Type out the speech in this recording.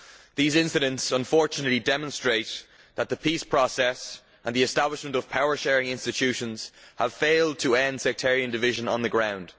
These incidents unfortunately demonstrate that the peace process and the establishment of power sharing institutions have failed to end sectarian division on the ground.